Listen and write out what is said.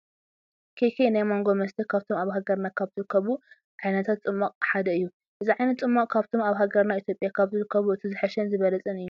ኬይ ኬይ ናይ ማንጎ መስተ ካብቶም ኣብ ሃገርና ካብ ዝርከቡ ዓይነታት ፁማቅ ሓደ እዩ። እዚ ዓይነት ፅማቅ ካብቶም ኣብ ሃገርና ኢትዮጵያ ካብ ዝርከቡ እቲ ዝሓሸን ዝበለፀን እዩ።